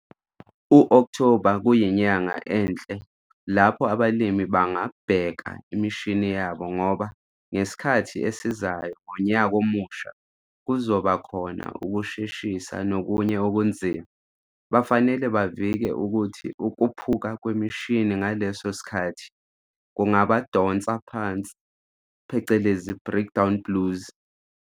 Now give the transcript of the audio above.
UOkthoba kuyinyanga enhle lapho abalimi bangabheka imishini yabo ngoba ngesikhathi esizayo ngonyaka omusha kuzobakhona ukusheshisa nokunye okuzima, bafanele bavike ukuthi ukuphuka kwemishini ngaleso sikhathi kungaba donsi phansi, breakdown blues.